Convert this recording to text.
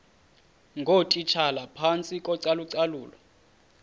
ngootitshala phantsi kocalucalulo